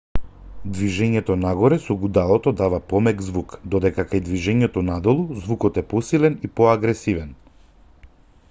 движењето нагоре со гудалото дава помек звук додека кај движењето надолу звукот е посилен и поагресивен